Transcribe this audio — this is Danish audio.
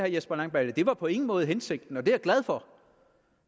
jesper langballe det var på ingen måde hensigten og det er jeg glad for